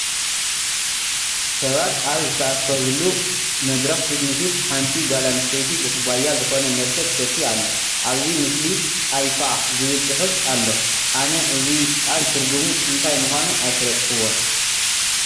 ሰባት ኣብ ዝተኣከብሉ መድረኽ ፌት ንፊት ሓንቲ ጓል ኣነስተይቲ ብኹባያ ዝኾነ መስተ ትሰቲ ኣላ፡፡ ኣብዚ ምስሊ Ayfa ዝብል ፅሑፍ ኣሎ፡፡ ኣነ እዚ ቃል ትርጉሙ እንታይ ምዃኑ ኣይፈለጥኩዎን፡፡